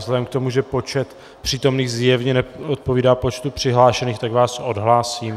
Vzhledem k tomu, že počet přítomných zjevně neodpovídá počtu přihlášených, tak vás odhlásím.